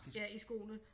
Ja i skoene